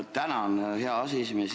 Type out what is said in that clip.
Tänan, hea aseesimees!